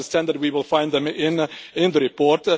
But I understand that we will find them in the report.